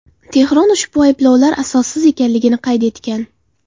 Tehron ushbu ayblovlar asossiz ekanligini qayd etgan.